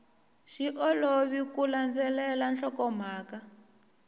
swi olovi ku landzelela nhlokomhaka